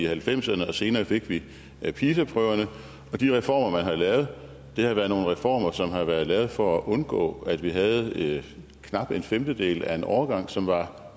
halvfemserne og senere fik vi pisa prøverne og de reformer man har lavet har været nogle reformer som har været lavet for at undgå at vi havde knap en femtedel af en årgang som var